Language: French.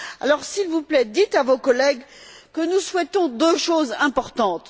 Alors, s'il vous plaît, dites à vos collègues que nous souhaitons deux choses importantes.